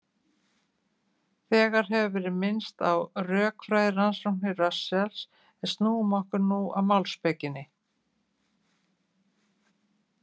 Þegar hefur verið minnst á rökfræðirannsóknir Russells, en snúum okkur nú að málspekinni.